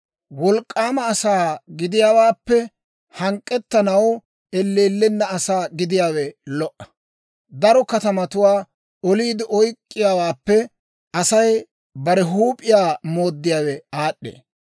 Wolk'k'aama asaa gidiyaawaappe, hank'k'ettanaw elleellenna asaa gidiyaawe lo"a; daro katamatuwaa oliide oyk'k'iyaawaappe, Asay bare huup'iyaa mooddiyaawe aad'd'ee.